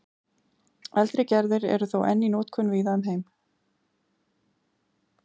eldri gerðir eru þó enn í notkun víða um heim